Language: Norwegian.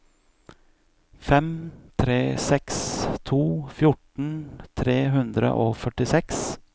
fem tre seks to fjorten tre hundre og førtiseks